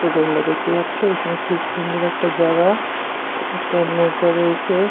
তো তোমরা দেখতেই পাচ্ছো এখানে খুব সুন্দর একটা জায়গা একটা নৌকা রয়েছে।